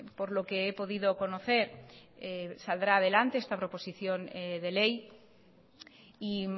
por lo que he podido conocer saldrá adelante esta proposición de ley y